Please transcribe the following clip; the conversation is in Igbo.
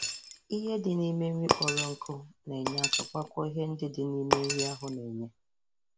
Ihe di n' ime nri kpọrọ nkụ na-enye aka gbakọọ ihe ndị dị n'ime nri ahu na-enye